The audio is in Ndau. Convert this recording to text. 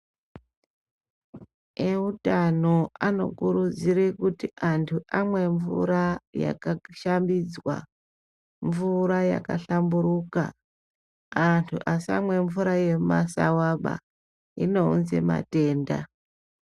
Eutano anokurudzire kuti antu amwe mvura yakashambidzwa, mvura yakahlamburuka, antu asamwe mvura yemumasawaba inounze matenda.